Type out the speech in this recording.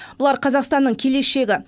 бұлар қазақстанның келешегі